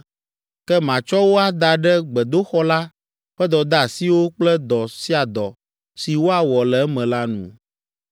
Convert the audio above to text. Ke matsɔ wo ada ɖe gbedoxɔ la ƒe dɔdeasiwo kple dɔ sia dɔ si woawɔ le eme la nu.